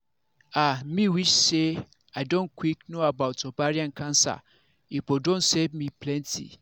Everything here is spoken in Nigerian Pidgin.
ah me wish say i don quick know about ovarian pause cancer e for don save me plenty